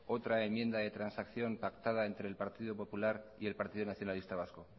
otra enmienda de transacción pactada entre el partido popular y el partido nacionalista vasco